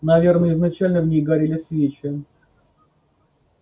наверное изначально в ней горели свечи